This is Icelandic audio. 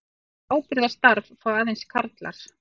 Það ábyrgðarstarf fá aðeins karlar.